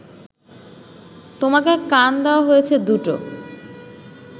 তোমাকে কান দেওয়া হয়েছে দুটো